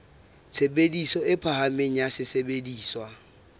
tshebediso e phahameng ya sesebediswa